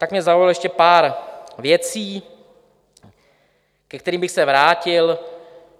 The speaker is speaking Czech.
Tak mě zaujalo ještě pár věcí, ke kterým bych se vrátil.